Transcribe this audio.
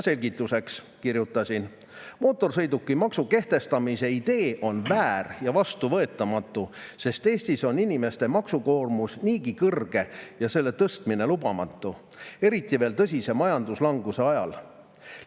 " Selgituseks kirjutasin: "Mootorsõidukimaksu kehtestamise idee on väär ja vastuvõetamatu, sest Eestis on inimeste maksukoormus niigi kõrge ja selle tõstmine lubamatu – eriti veel tõsise majanduslanguse ajal.